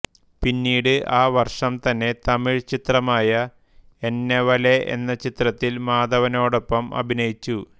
പിന്നീട് ആ വർഷം തന്നെ തമിഴ് ചിത്രമായ എന്നവലെ എന്ന ചിത്രത്തിൽ മാധവനോടൊപ്പം അഭിനയിച്ചു